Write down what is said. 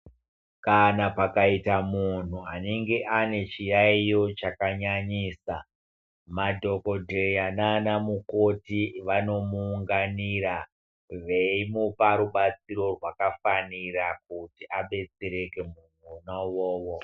Kana pakaita munhu anenge ane chiyayiyo chakanyanyisa Madhokodheya nanaMukoti vanomuunganira veimupa rubatsiro rwakafanira kuti abetsereke munhu ona uwowo.